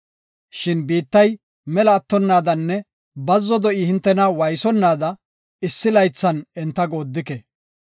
Shin biittay mela attonaadanne bazzo do7i hintena waaysonaada issi laythan enta goodike.